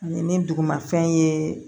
Ani dugumafɛn ye